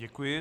Děkuji.